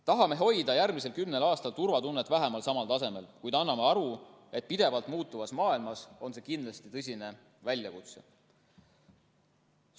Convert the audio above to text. Tahame hoida järgmisel kümnel aastal turvatunnet vähemalt samal tasemel, kuid anname endale aru, et pidevalt muutuvas maailmas on see kindlasti tõsine väljakutse.